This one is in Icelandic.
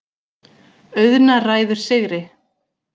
Auðna ræður sigri.